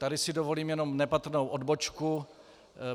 Tady si dovolím jenom nepatrnou odbočku.